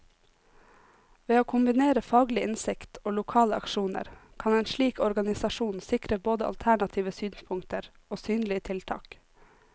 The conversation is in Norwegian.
Ved å kombinere faglig innsikt og lokale aksjoner, kan en slik organisasjon sikre både alternative synspunkter og synlige tiltak.